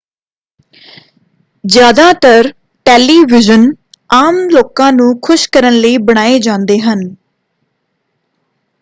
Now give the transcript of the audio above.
ਜ਼ਿਆਦਾਤਰ ਟੈਲੀਵੀਜ਼ਨ ਆਮ ਲੋਕਾਂ ਨੂੰ ਖੁਸ਼ ਕਰਨ ਲਈ ਬਣਾਏ ਜਾਂਦੇ ਹਨ